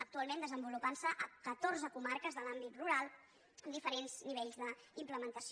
actualment es desenvolupa a catorze comarques de l’àmbit rural amb diferents nivells d’implementació